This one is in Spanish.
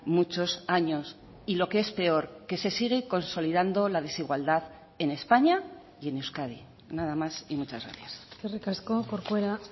muchos años y lo que es peor que se sigue consolidando la desigualdad en españa y en euskadi nada más y muchas gracias eskerrik asko corcuera